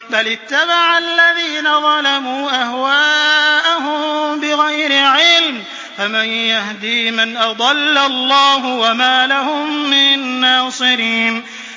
بَلِ اتَّبَعَ الَّذِينَ ظَلَمُوا أَهْوَاءَهُم بِغَيْرِ عِلْمٍ ۖ فَمَن يَهْدِي مَنْ أَضَلَّ اللَّهُ ۖ وَمَا لَهُم مِّن نَّاصِرِينَ